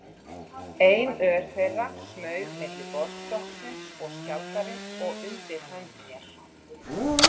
Ein ör þeirra smaug milli borðstokksins og skjaldarins og undir hönd mér.